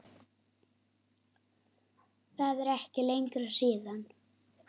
Það er ekki lengra síðan!